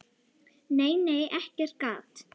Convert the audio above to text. Nei, nei, ekkert gat!